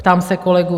Ptám se kolegů: